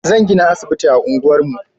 Zan gina asibiti a unguwar mu